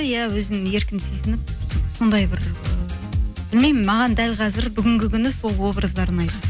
иә өзін еркін сезініп сондай бір білмеймін маған дәл қазір бүгінгі күні сол образдар ұнайды